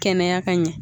Kɛnɛya ka ɲɛ